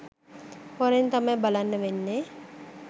හොරෙන් තමයි බලන්න වෙන්නේ